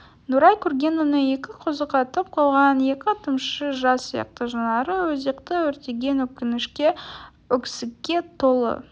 нұрай көрген оны екі көзі қатып қалған екі тамшы жас сияқты жанары өзекті өртеген өкінішке өксікке толы